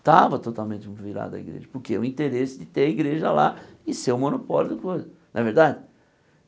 Estava totalmente virada a igreja, porque o interesse de ter a igreja lá e ser o monopólio da coisa, não é verdade?